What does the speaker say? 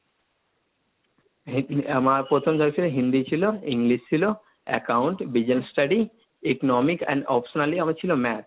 আমার প্রথম যা ছিল হিন্দি ছিল, ইংলিশ ছিল, account Business study, economy and optional এ আমার ছিল math,